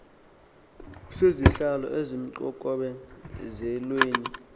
sezihlalo ezisemxokome zelweni